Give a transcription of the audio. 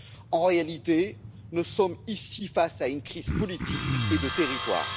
En réalité, nous sommes ici face à une crise politique et de territoire.